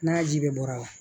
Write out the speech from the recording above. N'a ji bɛɛ bɔra